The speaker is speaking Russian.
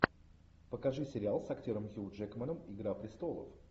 покажи сериал с актером хью джекманом игра престолов